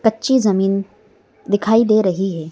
कच्ची जमीन दिखाई दे रही है।